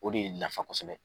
O de ye nafa kosɛbɛ.